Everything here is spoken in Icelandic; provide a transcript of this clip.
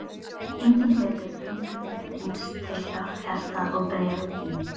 Enginn hlutur gengur mér eins til hjarta og bréfin þín.